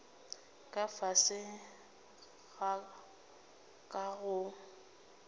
ka fase ga ka go